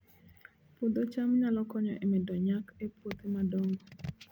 Puodho cham nyalo konyo e medo nyak e puothe madongo